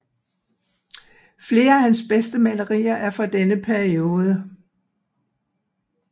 Flere af hans bedste malerier er fra denne periode